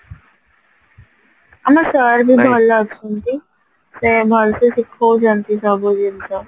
ଆମ sir ବି ଭଲ ଅଛନ୍ତି ସେ ଭଲସେ ଶିଖଉଛନ୍ତି ସବୁ ଜିନିଷ